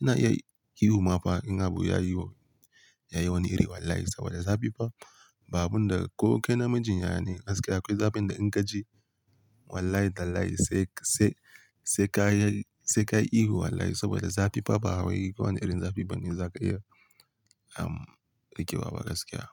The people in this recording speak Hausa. Ina iya yi, ihu ma fa in abu yayi, yayi wani iri wallahi sabida zafi fa ba abunda ko kai namijin yaya ne gaskiya akwai zafin da in kaji wallahi tallahi sai, sai, sai ka yi, sai ka yi ihu wallahi sabida zafi fa ba wai ko wane irin zafi bane zaka iya, um, riƙewa ba gaskiya.